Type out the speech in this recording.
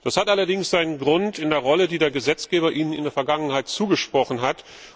Das hat allerdings seinen Grund in der Rolle, die der Gesetzgeber ihnen in der Vergangenheit zugesprochen hat.